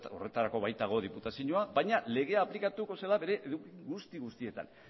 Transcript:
horretarako baitago diputazioa baina legea aplikatuko zela bere guzti guztietan